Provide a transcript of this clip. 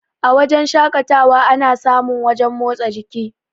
A wajen shakatawa ana sa mun wajen motsa jiki